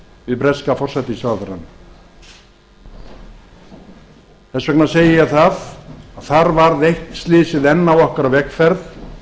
við breska forsætisráðherrann þess vegna segi ég það að þar varð eitt slysið enn á okkar vegferð